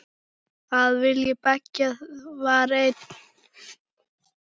Að vilji beggja var einn.